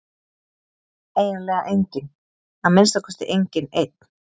Eiginlega enginn, að minnsta kosti enginn einn.